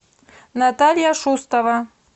наталья шустова